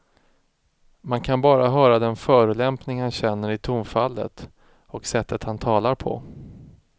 Man kan bara höra den förolämpning han känner i tonfallet och sättet han talar på.